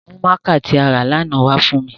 Mu mạạka ti a ra lana wa fun mi!